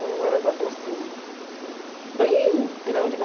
É um elevador, assim, bem grande, né?